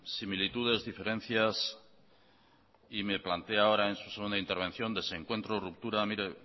similitudes y diferencias y me plantea ahora en su segunda intervención desencuentros y rupturas mire